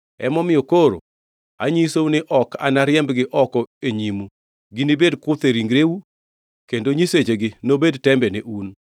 Emomiyo koro anyisou ni ok anariembgi oko e nyimu; ginibed kuthe e ringreu kendo nyisechegi nobed tembe ne un.”